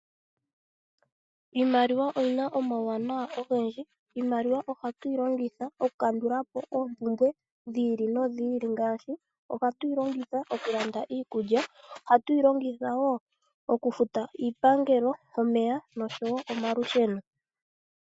Iimaliwa oyina omawuwanawa ogendji. Iimaliwa ohatu yi longitha okukandula po oompumbwe dhi ili nodhi ili ngaashi ohatu yi longitha okulanda iikulya, ohatu yi longitha wo okufuta iipangelo, omeya noshowo omalusheno.